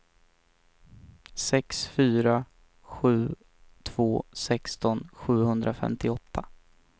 sex fyra sju två sexton sjuhundrafemtioåtta